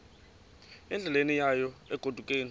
endleleni yayo egodukayo